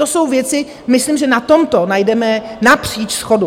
To jsou věci, myslím, že na tomto najdeme napříč shodu.